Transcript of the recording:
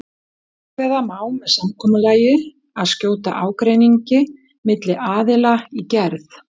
Ákveða má með samkomulagi að skjóta ágreiningi milli aðila í gerð.